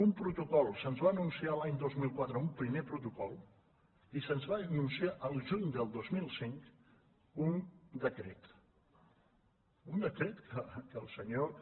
un protocol se’ns va anunciar l’any dos mil quatre un primer protocol i se’ns va anunciar al juny del dos mil cinc un decret un decret que el senyor que